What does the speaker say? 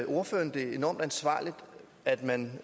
ordføreren det enormt ansvarligt at man